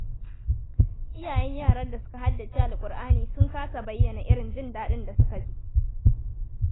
Iyayen yaran da suka haddace Kur'ani sun kasa bayyana irin jin daɗin da suka ji.